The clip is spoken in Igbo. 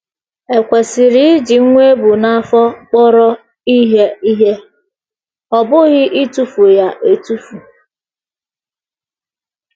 E kwesịrị iji nwa e bu n’afọ kpọrọ ihe ihe, ọ bụghị ịtụfu ya atụfu